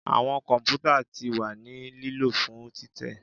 Awọn kọmputa ti wa ni lilo fun titẹ